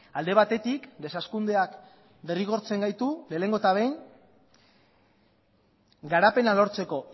alde batetik deshazkundeak derrigortzen gaitu lehenengo eta behin garapena lortzeko